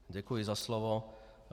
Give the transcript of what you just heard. Děkuji za slovo.